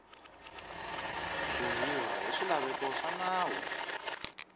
bohiwa hi swilaveko swa nawu